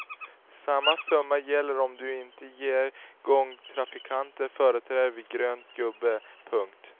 Samma summa gäller om du inte ger gångtrafikanter företräde vid grön gubbe. punkt